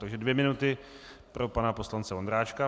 Takže dvě minuty pro pana poslance Vondráčka.